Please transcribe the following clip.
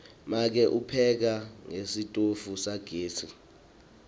make upheka ngesitofu sagesi